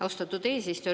Austatud eesistuja!